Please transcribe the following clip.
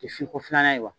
tɛ fin ko filanan ye wa